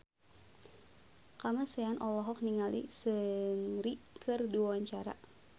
Kamasean olohok ningali Seungri keur diwawancara